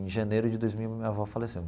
Em janeiro de dois mil, minha avó faleceu.